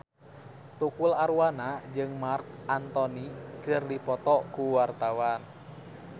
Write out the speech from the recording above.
Tukul Arwana jeung Marc Anthony keur dipoto ku wartawan